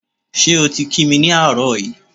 Ṣé o ti kí mi ni àárọ̀ yí?